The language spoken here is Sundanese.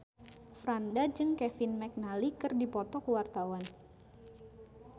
Franda jeung Kevin McNally keur dipoto ku wartawan